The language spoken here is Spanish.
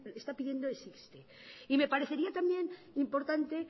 está pidiendo es irse y me parecería también importante